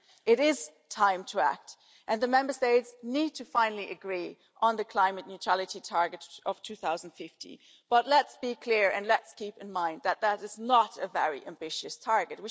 It is time to act and the Member States need to finally agree on the climate neutrality target of 2050. But, let's be clear, and let's keep in mind that that is not a very ambitious target.